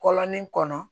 Kɔlɔnin kɔnɔ